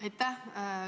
Aitäh!